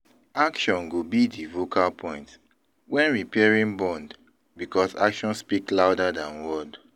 Action go be di vocal point when repairing bond because action speak louder than word.